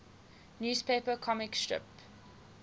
newspaper comic strip